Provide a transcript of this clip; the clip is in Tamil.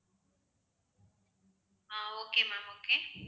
ah okay ma'am okay